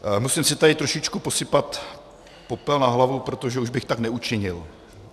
Musím si tady trošičku posypat popel na hlavu, protože už bych tak neučinil.